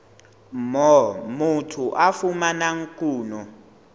moo motho a fumanang kuno